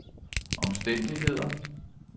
omstændigheder